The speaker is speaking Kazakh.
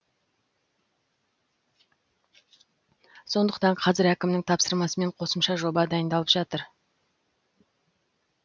сондықтан қазір әкімнің тапсырмасымен қосымша жоба дайындалып жатыр